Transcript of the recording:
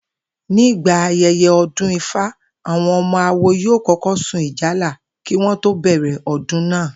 Nígbà aye̩ye̩ o̩dún Ifá, àwo̩n o̩mo̩ awo yóò kó̩kó̩ sun ìjálá kí wo̩n tó bè̩rè̩ o̩dún náà